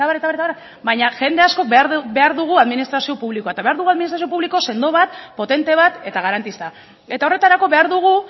eta abar abar eta abar baina jende askok behar dugu administrazio publikoa eta behar dugu administrazio publiko sendo bat potente bat eta garantista eta horretarako behar dugu